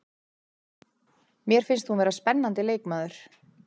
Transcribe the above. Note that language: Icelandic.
Mér finnst hún vera spennandi leikmaður.